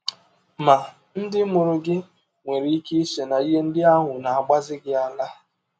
Ma, ndị mụrụ gị nwere ike iche na ihe ndị ahụ na - agbazi gị ara.